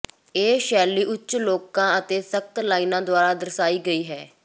ਇਹ ਸ਼ੈਲੀ ਉੱਚ ਕੋਲਾਂ ਅਤੇ ਸਖਤ ਲਾਈਨਾਂ ਦੁਆਰਾ ਦਰਸਾਈ ਗਈ ਹੈ